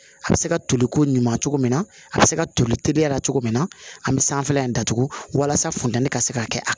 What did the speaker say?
A bɛ se ka toli ko ɲuman cogo min na a bɛ se ka toli teliya la cogo min na an bɛ sanfɛla in datugu walasa funtɛni ka se ka kɛ a